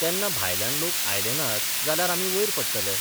तेन्ना भायल्यान लोक आयले नात जाल्यार आमी वयर पडटले.